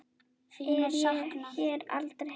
er hér aldrei heimil.